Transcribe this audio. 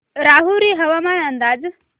राहुरी हवामान अंदाज